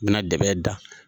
U be na dɛbɛn da.